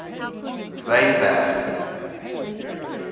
wynberg